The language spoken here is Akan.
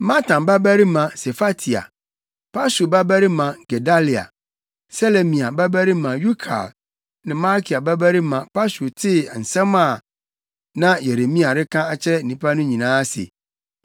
Matan babarima Sefatia, Pashur babarima Gedalia, Selemia babarima Yukal ne Malkia babarima Pashur tee nsɛm a na Yeremia reka akyerɛ nnipa no nyinaa se,